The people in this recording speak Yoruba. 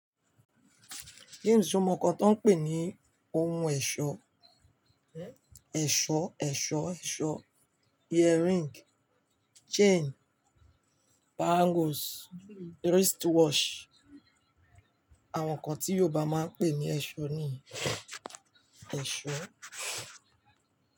James, se o mọ nǹkan tí wọ́n ń pè ní ohun ẹ̀ṣọ́. Ẹ̀ṣọ́, ẹ̀ṣọ́, ẹ̀ṣọ́, earring, chain, bangles, wristwatch àwọn nǹkan tí Yorùbá máa ń pè ní ẹ̀ṣọ́ nìyí. Ẹ̀ṣọ́